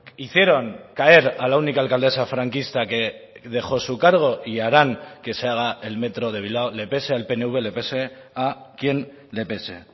hicieron caer a la única alcaldesa franquista que dejó su cargo y harán que se haga el metro de bilbao le pese al pnv le pese a quien le pese